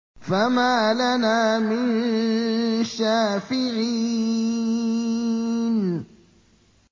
فَمَا لَنَا مِن شَافِعِينَ